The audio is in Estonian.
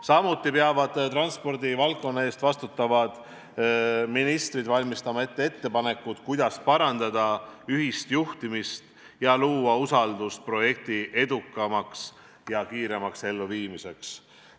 Samuti peavad transpordivaldkonna eest vastutavad ministrid valmistama ette ettepanekud, kuidas parandada ühist juhtimist ning luua usaldust projekti edukamaks ja kiiremaks elluviimiseks.